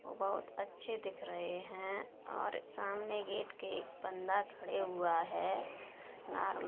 बहोत अच्छे दिख रहे हैं और सामने गेट के एक बंदा खड़े हुआ है --